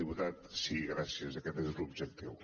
diputat sí gràcies aquest és l’objectiu